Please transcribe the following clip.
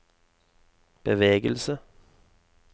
bevegelse